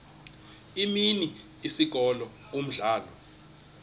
imini isikolo umdlalo